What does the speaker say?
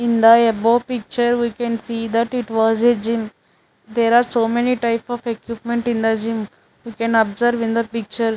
In the above picture we can see that it was a gym there are so many type of equipment in the gym you can observe in the picture.